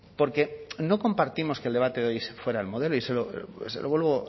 porque no compartimos que el debate de hoy fuera el modelo y se lo vuelvo